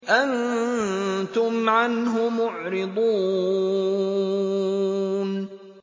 أَنتُمْ عَنْهُ مُعْرِضُونَ